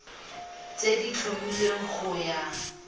tse di tlhomilweng go ya